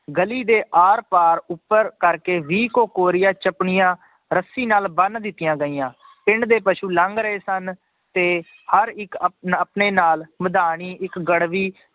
ਗਲੀ ਦੇ ਆਰ ਪਾਰ ਉੱਪਰ ਕਰਕੇ ਵੀਹ ਕੁ ਕੋਰੀਆ ਚਪਣੀਆਂ ਰੱਸੀ ਨਾਲ ਬੰਨ ਦਿੱਤੀਆਂ ਗਈਆਂ ਪਿੰਡ ਦੇ ਪਸੂ ਲੰਘ ਰਹੇ ਸਨ, ਤੇ ਹਰ ਇੱਕ ਆਪਣ~ ਆਪਣੇ ਨਾਲ ਮਧਾਣੀ ਇੱਕ ਗੜਬੀ